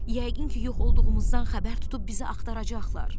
Yəqin ki, yox olduğumuzdan xəbər tutub bizi axtaracaqlar.